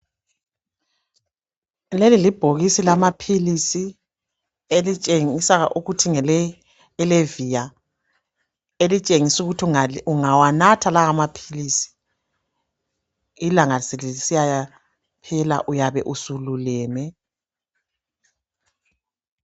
Leli libhokisi lamaphilisi elitshengisa ukuthi ngele Allevia, elitshengisa ukuthi ungawanatha lawa maphilisi ilanga selisiyaphela uyabe sululeme.